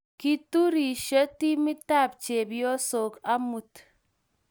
kiturisyo timitab chepyosok amut